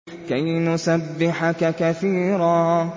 كَيْ نُسَبِّحَكَ كَثِيرًا